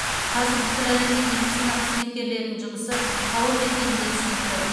қазір бүкіл әлемде медицина қызметкерлерінің жұмысы қауырт екені де түсінікті